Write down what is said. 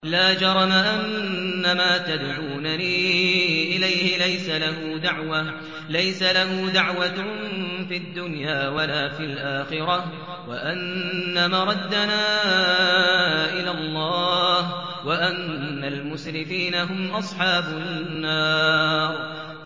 لَا جَرَمَ أَنَّمَا تَدْعُونَنِي إِلَيْهِ لَيْسَ لَهُ دَعْوَةٌ فِي الدُّنْيَا وَلَا فِي الْآخِرَةِ وَأَنَّ مَرَدَّنَا إِلَى اللَّهِ وَأَنَّ الْمُسْرِفِينَ هُمْ أَصْحَابُ النَّارِ